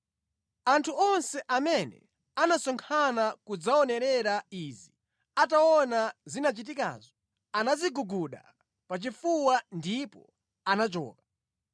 Anthu onse amene anasonkhana kudzaonerera izi, ataona zinachitikazo, anadziguguda pachifuwa ndipo anachoka.